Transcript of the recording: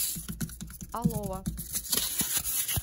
алова